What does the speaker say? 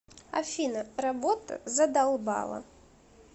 афина работа задолбала